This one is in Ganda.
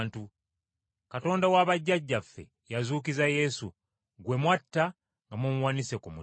Katonda wa bajjajjaffe yazuukiza Yesu, gwe mwatta nga mumuwanise ku muti.